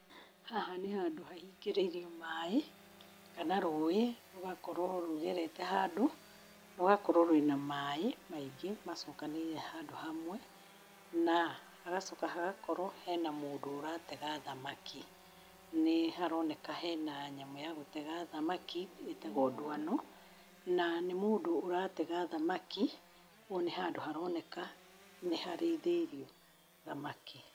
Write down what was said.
Haha nĩ handũ hahingĩrĩrio maĩ kana rũĩ rũgakorwo rũgerete handũ, rũgakorwo rwĩ na maĩ maingĩ macokanĩrĩire handũ hamwe, na hagacoka hagakorwo hena mũndũ ũratega thamaki. Nĩ haroneka hena nyamũ ya gũtega thamaki ĩtagwo ndwano, na nĩ mũndũ ũratega thamaki, kwoguo nĩ handũ haroneka nĩ harĩithĩirio thamaki.